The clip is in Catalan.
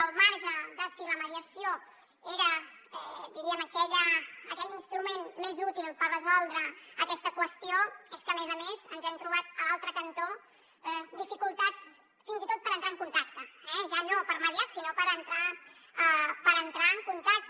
al marge de si la mediació era diríem aquell instrument més útil per resoldre aquesta qüestió és que a més a més ens hem trobat a l’altre cantó dificultats fins i tot per entrar en contacte ja no per mediar sinó per entrar en contacte